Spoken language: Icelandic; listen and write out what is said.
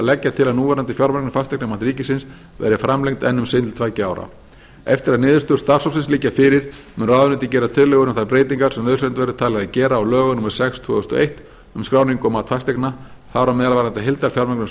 leggja til að núverandi fjármögnun fasteignamats ríkisins verði framlengd enn um sinn til tveggja ára eftir að niðurstöður starfshópsins liggja fyrir mun ráðuneytið gera tillögur um þær breytingar sem nauðsynlegt verður talið að gera á lögum númer sex tvö þúsund og eitt um skráningu og mat fasteigna þar á meðal varðandi heildarfjármögnun